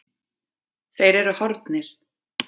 Þeir eru horfnir.